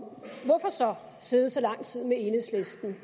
så sidder så lang tid med enhedslisten